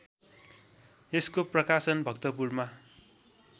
यसको प्रकाशन भक्तपुरमा